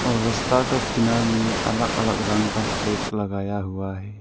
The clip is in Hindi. रस्ता का किनार में अलग अलग रंग का फ्लैग लगाया हुआ है।